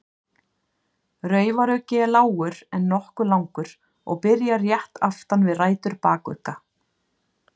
Raufaruggi er lágur en nokkuð langur og byrjar rétt aftan við rætur bakugga.